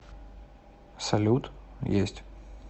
салют есть